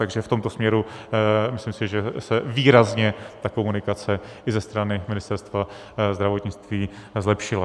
Takže v tomto směru si myslím, že se výrazně ta komunikace i ze strany Ministerstva zdravotnictví zlepšila.